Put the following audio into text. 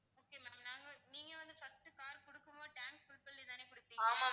okay ma'am நாங்க நீங்க வந்து first உ car கொடுக்கும் போது tank full பண்ணி தான கொடுப்பீங்க?